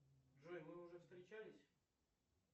джой мы уже встречались